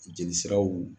Jeli siraw